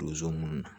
Donso minnu na